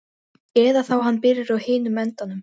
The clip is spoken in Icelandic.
Eða þá hann byrjaði á hinum endanum.